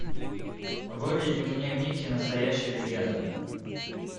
выведи мне микки настоящая легенда